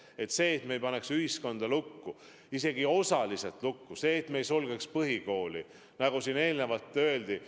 Eesmärk on, et me ei paneks ühiskonda lukku, isegi mitte osaliselt lukku, et me ei sulgeks põhikooli, nagu siin eelnevalt öeldi.